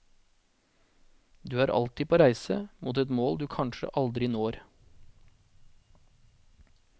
Du er alltid på reise, mot et mål du kanskje aldri når.